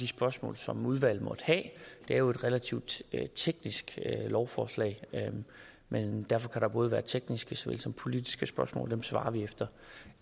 spørgsmål som udvalget måtte have det er jo et relativt teknisk lovforslag men derfor kan der både være tekniske såvel som politiske spørgsmål og dem besvarer vi